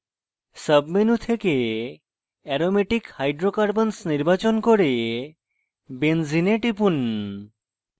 submenu থেকে aromatic hydrocarbons নির্বাচন করে benzene এ টিপুন